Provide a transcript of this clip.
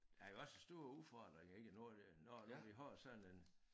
Der jo også store udfordringer ikke nu er det nu nu vi har sådan en